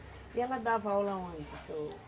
E ela dava aula onde? Seu